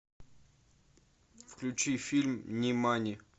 включи фильм нимани